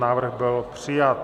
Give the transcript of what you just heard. Návrh byl přijat.